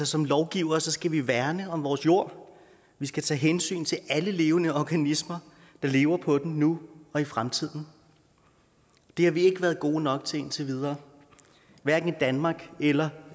som lovgivere skal vi værne om vores jord vi skal tage hensyn til alle levende organismer der lever på den nu og i fremtiden det har vi ikke været gode nok til indtil videre hverken i danmark eller